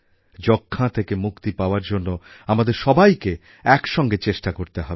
যক্ষ্মা থেকে মুক্তি পাওয়ার জন্য আমাদের সবাইকে একসঙ্গে চেষ্টা করতে হবে